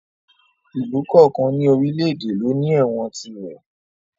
Ìlú kọ̀ọ̀kan ní orílè èdè ló ní ẹ̀wọ̀n tirẹ̀